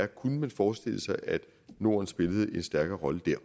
kunne forestille sig at norden spillede en stærkere rolle der